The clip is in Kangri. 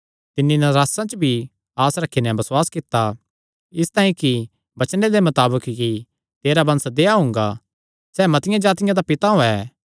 तिन्नी नरासा च भी आस रखी नैं बसुआस कित्ता इसतांई कि तिस वचने दे मताबक कि तेरा वंश देहया हुंगा सैह़ मतिआं जातिआं दा पिता होयैं